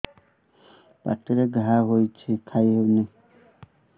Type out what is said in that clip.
ପାଟିରେ ଘା ହେଇଛି ଖାଇ ହଉନି